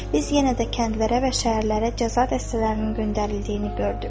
Biz yenə də kəndlərə və şəhərlərə cəza dəstələrinin göndərildiyini gördük.